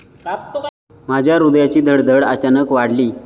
माझ्या हृदयाची धडधड अचानक वाढली.